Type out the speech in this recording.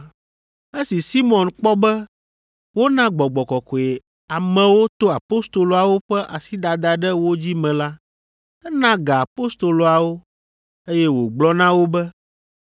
Esi Simɔn kpɔ be wona Gbɔgbɔ Kɔkɔe amewo to apostoloawo ƒe asidada ɖe wo dzi me la, ena ga apostoloawo, eye wògblɔ na wo be,